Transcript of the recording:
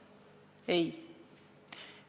Ei.